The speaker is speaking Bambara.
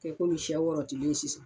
Ko komi sɛ wɔrɔtilen sisan